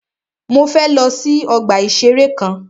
Mọ fẹ lọ sí ọgbà ìṣẹ̀rẹ́ kan.